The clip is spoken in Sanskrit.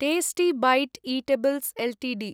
tasty Bite Eatables Ltd